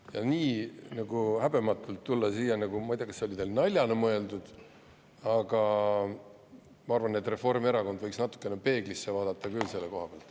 Ja nii häbematult tulla siia – ma ei tea, kas see oli teil naljana mõeldud, aga ma arvan, et Reformierakond võiks natukene peeglisse vaadata küll selle koha pealt.